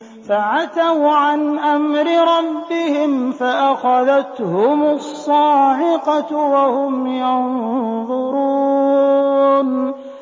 فَعَتَوْا عَنْ أَمْرِ رَبِّهِمْ فَأَخَذَتْهُمُ الصَّاعِقَةُ وَهُمْ يَنظُرُونَ